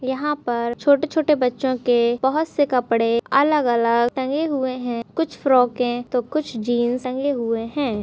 यहाँ पर छोटे छोटे बच्चों के बहुत से कपड़े अलग-अलग टंगे हुये है कुछ फ़्रॉके तो कुछ जिन्स टंगे हुये है।